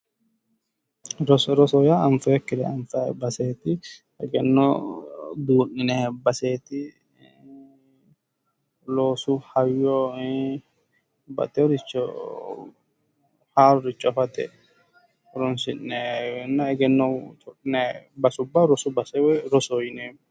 Roso, roso yaa anfoonnikkiricho ku'lano baseti egenno duu'ninnanni baseti, loosu. hayyo ii'i babbaxeyoricho haaroricho afatenna egenno codhinanni base ,rosu base woyi rosoho yinneemmo